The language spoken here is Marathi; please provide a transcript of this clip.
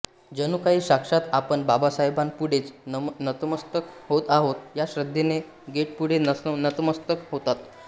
जणूकाही साक्षात आपण बाबासाहेबांपुढेच नतमस्तक होत आहोत या श्रेद्धेने गेटपुढे नतमस्तक होतात